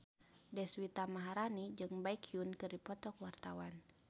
Deswita Maharani jeung Baekhyun keur dipoto ku wartawan